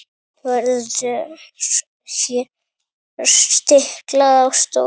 Verður hér stiklað á stóru.